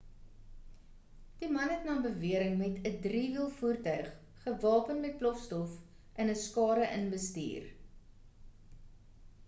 die man het na beweringe met 'n drie-wiel voertuig gewapen met plofstof in 'n skare in bestuur